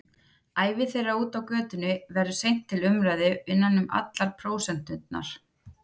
Ævi þeirra úti á götunni verður seint til umræðu innan um allar prósenturnar.